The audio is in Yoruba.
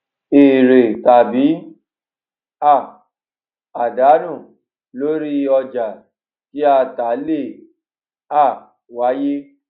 èrè tàbí um àdánù lóri ọjà tí a tà lè um wáyé